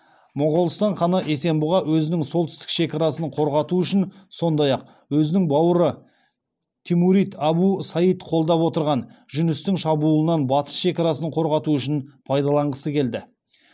моғолстан ханы есенбұға өзінің солтүстік шекарасын қорғату үшін сондай ақ өзінің бауыры тимурид абу саид қолдап отырған жүністің шабуылынан батыс шекарасын қорғату үшін пайдаланғысы келді